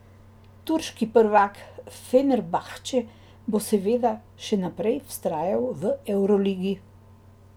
Turški prvak Fenerbahče bo seveda še naprej vztrajal v evroligi.